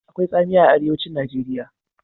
Akwai tsamiya a Arewacin Najeriya.